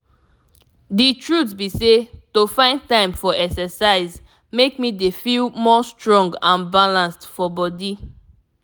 the truth be sey to find time for exercise make me dey feel more strong and balanced for body.